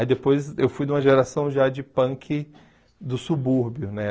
Aí depois eu fui de uma geração já de punk do subúrbio, né?